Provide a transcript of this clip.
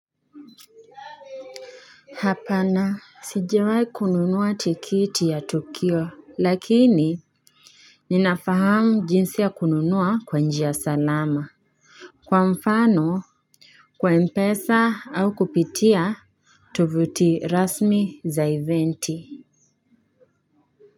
Hapana sijiwai kununua tikiti ya tukio lakini ninafahamu jinsi ya kununua kwa njia ya salama kwa mfano kwa mpesa au kupitia tovuti rasmi za eventi.